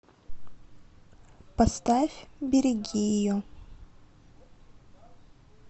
поставь береги ее